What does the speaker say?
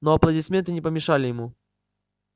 но аплодисменты не помешали ему